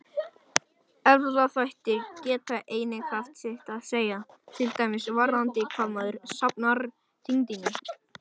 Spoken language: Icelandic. Erfðaþættir geta einnig haft sitt að segja, til dæmis varðandi hvar maður safnar þyngdinni.